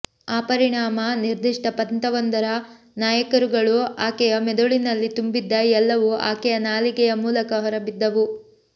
ಆ ಪರಿಣಾಮ ನಿರ್ದಿಷ್ಟ ಪಂಥವೊಂದರ ನಾಯಕರುಗಳು ಆಕೆಯ ಮೆದುಳಿನಲ್ಲಿ ತುಂಬಿದ್ದ ಎಲ್ಲವೂ ಆಕೆಯ ನಾಲಿಗೆಯ ಮೂಲಕ ಹೊರ ಬಿದ್ದವು